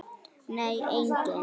Nei, enginn.